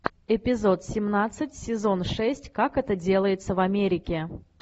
эпизод семнадцать сезон шесть как это делается в америке